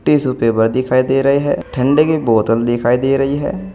Tissue paper दिखाई दे रहे हैं ठंडे की बोतल दिखाई दे रही है।